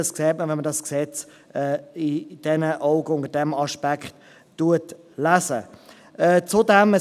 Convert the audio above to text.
Wenn man das Gesetz unter diesem Aspekt liest, dann sieht man das.